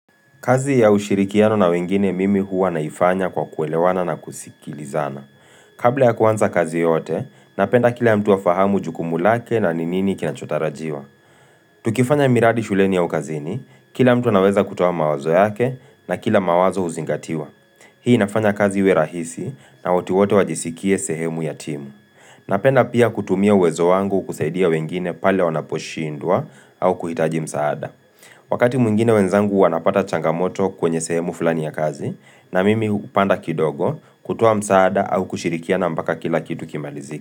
Kazi ya ushirikiano na wengine mimi huwa naifanya kwa kuelewana na kusikilizana. Kabla ya kuanza kazi yoyote, napenda kila mtu afahamu jukumu lake na ni nini kinachotarajiwa. Tukifanya miradi shuleni au kazini, kila mtu anaweza kutoa mawazo yake na kila mawazo huzingatiwa. Hii inafanya kazi iwe rahisi na watu wote wajisikie sehemu ya timu. Napenda pia kutumia uwezo wangu kusaidia wengine pale wanaposhindwa au kuhitaji msaada. Wakati mwingine wenzangu wanapata changamoto kwenye sehemu fulani ya kazi na mimi hupanda kidogo kutoa msaada au kushirikiana mbaka kila kitu kimalizike.